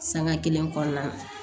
Sanga kelen kɔnɔna